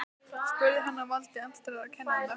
spurði hann, á valdi andstæðra kennda.